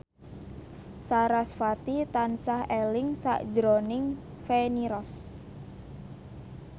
sarasvati tansah eling sakjroning Feni Rose